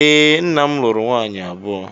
E, nna'm luru nwaanyị abụọ.